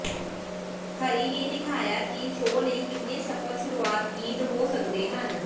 ਹਰੀ ਨੇ ਦਿਖਾਇਆ ਕਿ ਸ਼ੋਅ ਲਈ ਕਿੰਨੇ ਸਫਲ ਸ਼ੁਰੂਆਤ ਗੀਤ ਹੋ ਸਕਦੇ ਹਨ